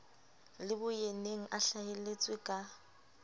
le boyeneng a hlaheletse ka